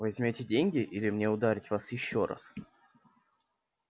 возьмёте деньги или мне ударить вас ещё раз